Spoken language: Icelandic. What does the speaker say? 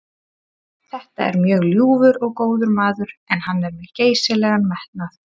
Þetta er mjög ljúfur og góður maður en hann er með geysilegan metnað.